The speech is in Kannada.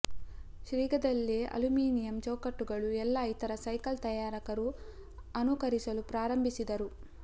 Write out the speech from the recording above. ಶೀಘ್ರದಲ್ಲೇ ಅಲ್ಯುಮಿನಿಯಮ್ ಚೌಕಟ್ಟುಗಳು ಎಲ್ಲಾ ಇತರ ಸೈಕಲ್ ತಯಾರಕರು ಅನುಕರಿಸಲು ಪ್ರಾರಂಭಿಸಿದರು